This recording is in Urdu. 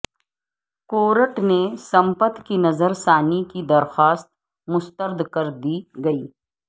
کورٹ نے سمپت کی نظر ثانی کی درخواست مسترد کر دی گئی